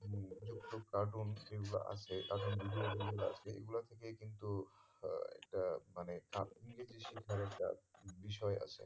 তো cartoon যেগুলো আছে তাদের video গুলো আছে এইগুলোর থেকেই কিন্তু হা একটা মানে বিষয়ে আছে